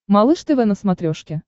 малыш тв на смотрешке